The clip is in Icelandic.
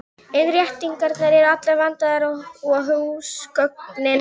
Innréttingar eru allar vandaðar og húsgögnin líka.